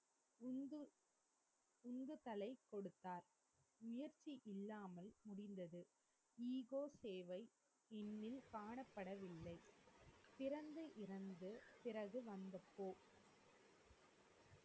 உந்து உந்துகலை கொடுத்தார் நியர்த்தி இல்லாமல் முடிந்தது echo சேவை இந்னில் காணப்படவில்லை பிறந்து இறந்து பிறகு வந்த போ